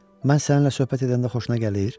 Mən səninlə söhbət edəndə xoşuna gəlir?